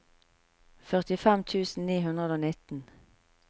førtifem tusen ni hundre og nitten